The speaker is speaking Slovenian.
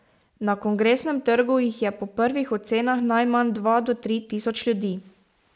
Na Kongresnem trgu jih je po prvih ocenah najmanj dva do tri tisoč ljudi.